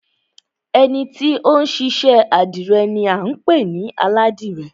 Ẹni ti ó ń ṣiṣẹ́ àdìrẹ ni à ń pè ní Aládìrẹ